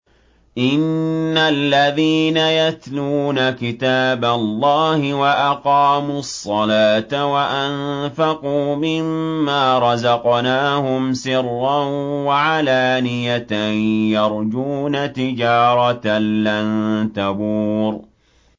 إِنَّ الَّذِينَ يَتْلُونَ كِتَابَ اللَّهِ وَأَقَامُوا الصَّلَاةَ وَأَنفَقُوا مِمَّا رَزَقْنَاهُمْ سِرًّا وَعَلَانِيَةً يَرْجُونَ تِجَارَةً لَّن تَبُورَ